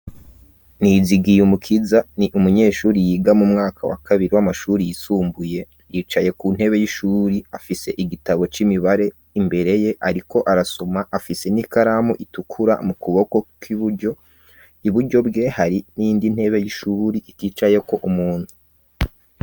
Nizigiyumukiza ni umunyeshuri yiga mu mwaka wa kabiri w'amashuri yisumbuye yicaye ku ntebe y'ishuri afise igitabo c'imibare imbere ye ariko arasoma afise n'ikaramu itukura mu kuboko k'ibuyo ibujyo bwe hari nindi ntebe y'ishuri ikicaye ko umuntu.